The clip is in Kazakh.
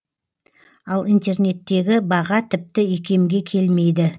ал интернеттегі баға тіпті икемге келмейді